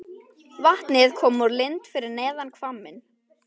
Vatnið kom úr lind fyrir neðan hvamminn.